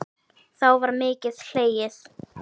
Þá var mikið hlegið.